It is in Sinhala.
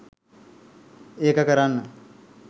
ඒක කරන්න